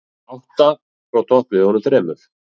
Átta frá toppliðunum þremur